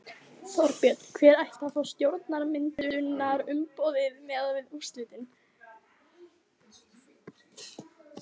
Þorbjörn: Hver ætti að fá stjórnarmyndunarumboðið miðað við úrslitin?